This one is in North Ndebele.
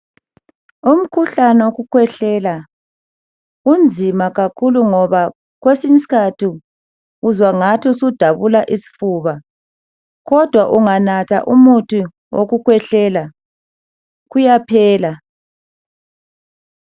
Umkhuhlane wokukhwehlela unzima kakhulu, ngoba kwesinyi isikhathi uzwa ngathi usudabula isifuba, kodwa unganatha umuthi wokukhwehlela. Kuyaphela.